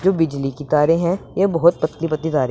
जो बिजली की तारें है ये बहोत पतली पतली तारें--